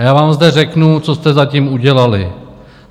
A já vám zde řeknu, co jste zatím udělali.